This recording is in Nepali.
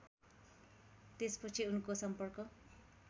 त्यसपछि उनको सम्पर्क